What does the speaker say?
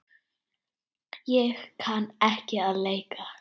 Ég kann ekki að leika.